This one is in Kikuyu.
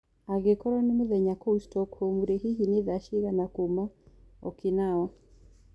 Angĩkorwo ni mũthenya kũũ Stockholm hĩhĩ ni thaa cĩĩgana kũũ okinawa